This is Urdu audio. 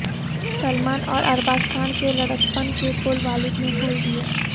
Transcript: سلمان اور ارباز خان کے لڑکپن کے پول والد نے کھول دیئے